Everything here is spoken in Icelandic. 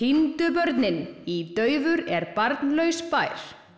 týndu börnin í daufur er barnlaus bær